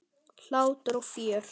Hlátur og fjör.